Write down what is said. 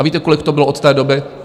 A víte, kolik to bylo od té doby?